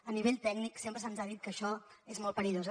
a nivell tècnic sempre se’ns ha dit que això és molt perillós